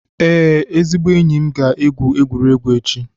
Ee, ezigbo enyi m ga-aga egwuregwu echi.